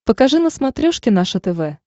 покажи на смотрешке наше тв